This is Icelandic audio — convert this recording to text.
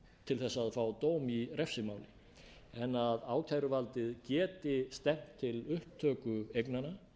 til að fá dóm í refsimáli en að ákæruvaldið geti stefnt til upptöku eignanna